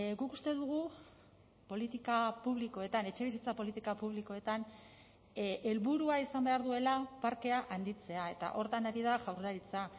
guk uste dugu politika publikoetan etxebizitza politika publikoetan helburua izan behar duela parkea handitzea eta horretan ari da jaurlaritza